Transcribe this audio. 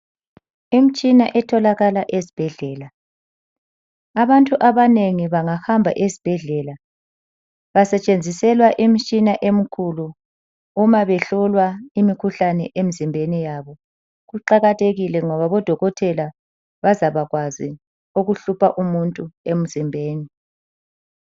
Imtshina etholakala esbhedlela. Abantu abanengi bangahamba esbhedlela, basetshenziselwa imtshina emkhulu uma behlolwa imikhuhlane emzimbeni yabo. Kuqakathekile ngoba odokotela bazabakwazi okuhlupha umuntu emzimbeni.